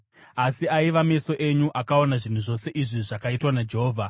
Asi aiva meso enyu akaona zvinhu zvose izvi zvakaitwa naJehovha.